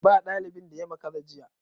Ba dalibin da ya makara jiya.